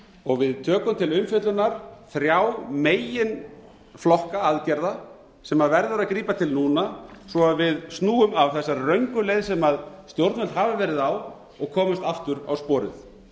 og við tökum til umfjöllunar þrjá meginflokka aðgerða sem verður að grípa til núna svo við snúum af þessari röngu leið sem stjórnvöld hafa verið á og komumst aftur á sporið